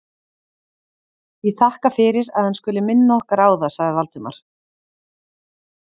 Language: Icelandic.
Ég þakka fyrir, að hann skuli minna okkar á það sagði Valdimar.